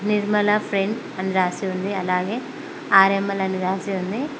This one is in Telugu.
నిర్మల ఫ్రెండ్స్ అని రాసి ఉంది అలాగే ఆర్ఎంఎల్ అని రాసిఉంది.